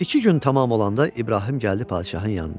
İki gün tamam olanda İbrahim gəldi padşahın yanına.